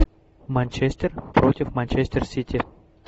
манчестер против манчестер сити